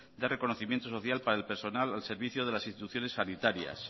de reconocimiento social para el personal al servicio de las instituciones sanitarias